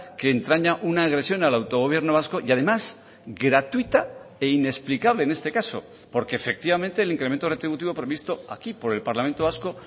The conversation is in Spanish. que entraña una agresión al autogobierno vasco y además gratuita e inexplicable en este caso porque efectivamente el incremento retributivo previsto aquí por el parlamento vasco